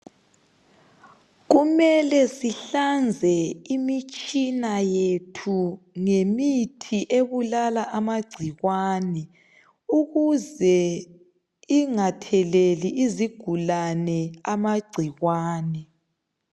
Kumele sihlanze imitshina yethu ngemithi ebulala amagcikwane ukuze ingatheleli izigulane amagcikwane